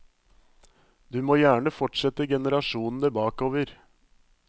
Du må gjerne fortsette generasjonene bakover.